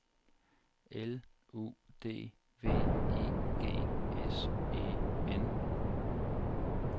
L U D V I G S E N